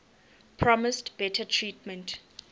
promised better treatment